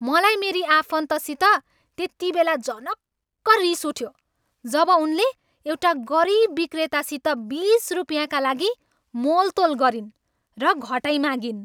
मलाई मेरी आफन्तसित त्यतिबेला झनक्क रिस उठ्यो जब उनले एउटा गरिब विक्रेतासित बिस रुपिँयाका लागि मोलतोल गरिन् र घटाइमागिन्।